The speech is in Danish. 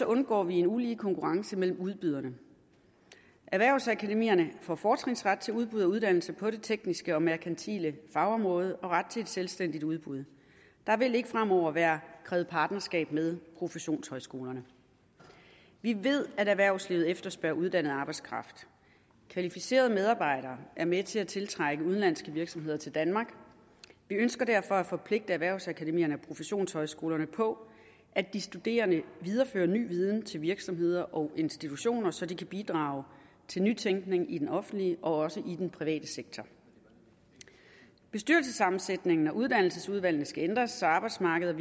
undgår vi en ulige konkurrence mellem udbyderne erhvervsakademierne får fortrinsret til at udbyde uddannelser på det tekniske og merkantile fagområde og ret til et selvstændigt udbud der vil ikke fremover være krævet partnerskab med professionshøjskolerne vi ved at erhvervslivet efterspørger uddannet arbejdskraft kvalificerede medarbejdere er med til at tiltrække udenlandske virksomheder til danmark vi ønsker derfor at forpligte erhvervsakademierne og professionshøjskolerne på at de studerende viderefører ny viden til virksomheder og institutioner så de kan bidrage til nytænkning i den offentlige og også i den private sektor bestyrelsessammensætningen af uddannelsesudvalgene skal ændres så arbejdsmarkedet